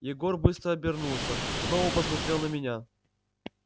егор быстро обернулся снова посмотрел на меня